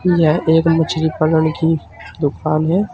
यह एक मछली पालन की दुकान है।